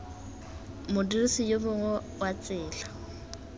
modirisi yo mongwe wa tsela